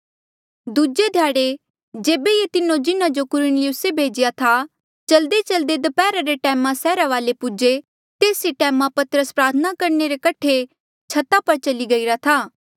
दूजे ध्याड़े जेबे ये तीनो जिन्हा जो कुरनिलिउसे भेजीरा था चल्देचल्दे दपैहरा रे टैमा सैहरा वाले पूजे तेस ही टैमा पतरस प्रार्थना करणे रे कठे छता पर चली गईरा था